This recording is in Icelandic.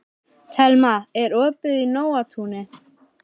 Thelma, er opið í Nóatúni?